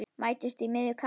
Mætumst í miðju kafi.